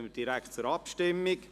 Somit kommen wir zur Abstimmung.